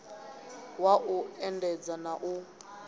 wa u endedza na u